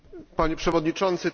Panie Przewodniczący!